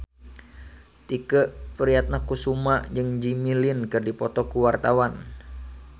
Tike Priatnakusuma jeung Jimmy Lin keur dipoto ku wartawan